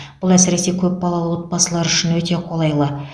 бұл әсіресе көпбалалы отбасылар үшін өте қолайлы